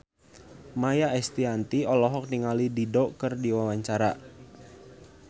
Maia Estianty olohok ningali Dido keur diwawancara